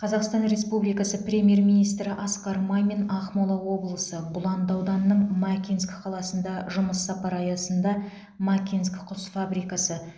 қазақстан республикасы премьер министрі асқар мамин ақмола облысы бұланды ауданының макинск қаласына жұмыс сапары аясында макинск құс фабрикасы